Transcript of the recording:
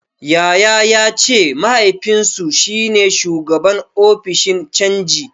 Yaya ya ce mahaifinsu shi ne shugaban ofishin canji.